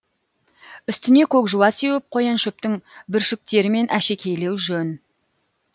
үстіне көк жуа сеуіп қояншөптің бүршіктерімен әшекейлеу жөн